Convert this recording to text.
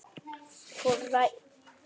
Hvor ræður?